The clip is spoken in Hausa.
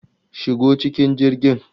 Shigo cikin jirgin!